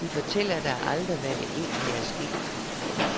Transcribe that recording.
De fortæller dig aldrig, hvad der egentlig er sket.